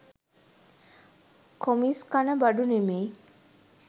කොමිස් කන බඩු නෙමෙයි